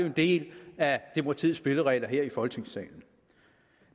en del af demokratiets spilleregler her i folketingssalen